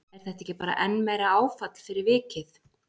Er þetta ekki bara enn meira áfall fyrir vikið?